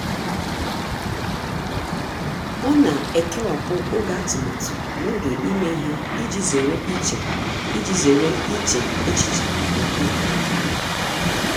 ọ na-ekewapụ oge atụmatụ na oge ime ihe iji zere iche iji zere iche echiche nke ukwuu.